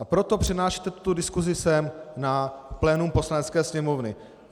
A proto přenášíte tuto diskusi sem na plénum Poslanecké sněmovny.